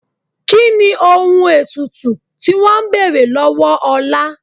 Kí ni ohun ètùtù tí wọn ń bèrè lọ́wọ́ Ọlá?